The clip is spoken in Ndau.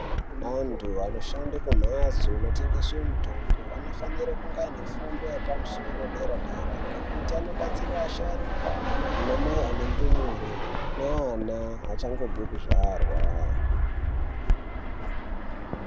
Antu anoshande kumhatso inotengeswe mutombo anofanire kunge aine fundo yepamusoro dera dera ngekuti anobatsire asharukwa ana mai ane ndumure naana achangobve kuzvarwa.